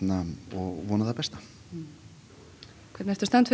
og vona það besta hvernig ertu stemmd